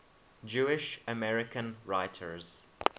jewish american writers